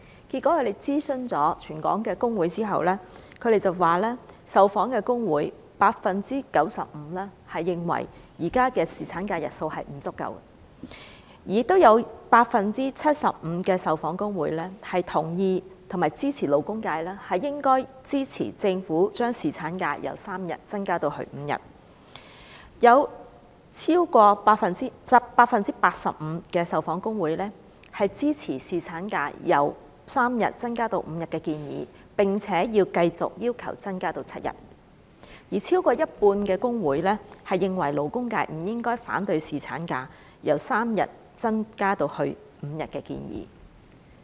在諮詢全港各工會之後，他們指受訪工會中，有 95% 認為現時侍產假的日數不足；有 75% 受訪工會同意和支持勞工界應該支持政府，將侍產假由3天增至5天；有 85% 受訪工會支持侍產假由3天增至5天的建議，並且認為要繼續要求增至7天；以及超過一半工會認為勞工界不應反對侍產假由3天增至5天的建議。